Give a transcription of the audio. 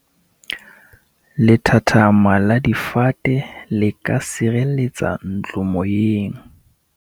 lethathama la difate le ka sireletsa ntlo moyeng